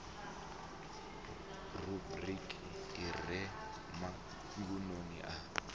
rubriki i re magumoni a